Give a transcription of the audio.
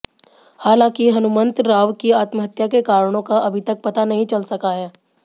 हालांकि हनुमंत राव की आत्महत्या के कारणों का अभी तक पता नही चल सका है